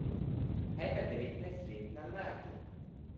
Kaj pa devetnajstletna mati?